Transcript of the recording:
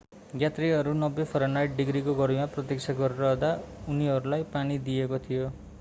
यात्रुहरू 90 फरेनहाइट डिग्रीको गर्मीमा प्रतीक्षा गरिरहँदा उनीहरूलाई पानी दिइएको थियो।